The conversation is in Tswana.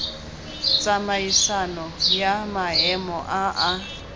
tsamaisano ya maemo a a